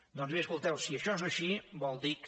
doncs bé escolteu si això és així vol dir que